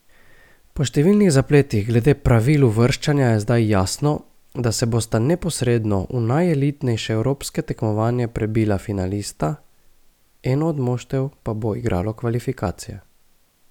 Po številnih zapletih glede pravil uvrščanja je zdaj jasno, da se bosta neposredno v najelitnejše evropsko tekmovanje prebila finalista, eno od moštev pa bo igralo kvalifikacije.